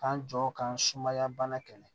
K'an jɔ k'an sumaya bana kɛlɛ